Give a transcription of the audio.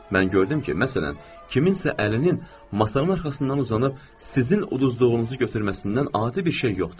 Mən gördüm ki, məsələn, kimsə əlinin masanın arxasından uzanıb sizin uduzduğunuzu götürməsindən adi bir şey yoxdur.